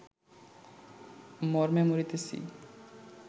মরমে মরিতেছি